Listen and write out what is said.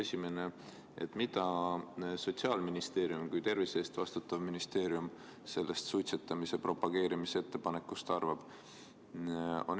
Esimene on see, mida Sotsiaalministeerium kui tervise eest vastutav ministeerium sellest suitsetamise propageerimise ettepanekust arvab.